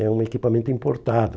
É um equipamento importado.